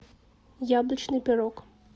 яблочный пирог